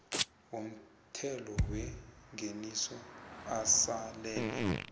womthelo wengeniso asalele